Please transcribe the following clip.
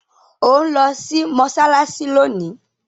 o nlò sí Mossalassi lóni!